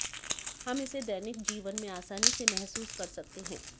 हम इसे दैनिक जीवन में आसानी से महसूस कर सकते हैं